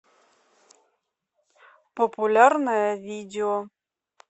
популярное видео